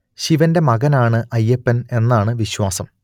ശിവന്റെ മകൻ ആണ് അയ്യപ്പൻ എന്നാണ് വിശ്വാസം